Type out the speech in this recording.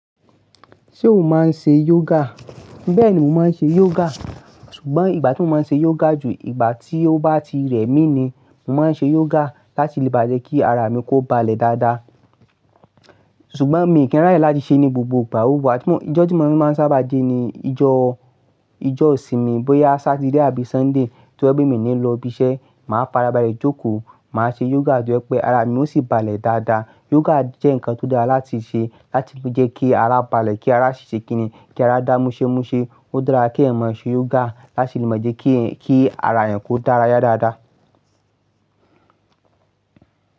Ṣé o máa ń ṣe yoga? Bẹ́ẹ̀ni, mo máa ń ṣe yoga. Ṣùgbọ́n ìgbà tí mo máa ń ṣe yoga jù, ìgbà tí ó bá ti rẹ̀ mí ni. Mo máa ń ṣe yoga láti lè bá jẹ́ kí ara mi kó balẹ̀ dáadáa. Ṣùgbọ́n mi kì n ràye láti ṣe ní gbogbo ìgbà, ó wùwà tí mo-- ijọ́ tí mọ máa ń sábà sẹ́ ni ijọ́, ijọ́ isìnmi. Bóyá Saturday àbí Sunday tó ye pé mi ní lọ ibi iṣẹ́, màá farabalẹ̀ jókòó, màá ṣe yoga tó yẹ́ pé ara mi ó sì balẹ̀ dáadáa. Yoga jẹ́ nǹkan tó dára láti ṣe láti lè jẹ́ kí ara balẹ̀, kí ara ṣi ṣé kini, kí ara dá múṣẹ́múṣẹ́. Ó dára kí ẹ̀eyan máa ṣe yoga láti lè maa jẹ́ kí, kí ara ẹ́eyan kó dára yá dáadáa.